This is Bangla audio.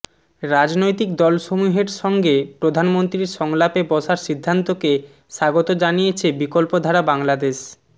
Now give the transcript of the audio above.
রাজনৈতিক দলসমূহের সঙ্গে প্রধানমন্ত্রীর সংলাপে বসার সিদ্ধান্তকে স্বাগত জানিয়েছে বিকল্পধারা বাংলাদেশ